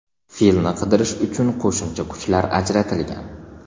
Filni qidirish uchun qo‘shimcha kuchlar ajratilgan.